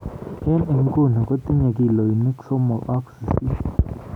eng inguno kotinye kilonik sosom ak sisit